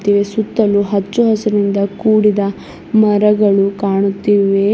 ಈ ಸುತ್ತಲೂ ಹಚ್ಚು ಹರಿಸಿನಿಂದ ಕೂಡಿದ ಮರಗಳು ಕಾಣುತ್ತಿವೆ.